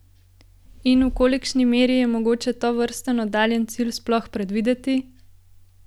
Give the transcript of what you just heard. In v kolikšni meri je mogoče tovrsten oddaljeni cilj sploh predvideti?